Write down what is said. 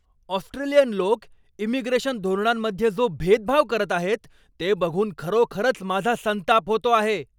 Australian लोक immigration धोरणांमध्ये जो भेदभाव करत आहेत ते बघून खरोखरच माझा संताप होतो आहे.